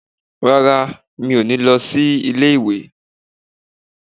Rárá, mi ò ní lọ sí ilé ìwé.